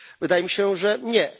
Wydaje mi się, że nie.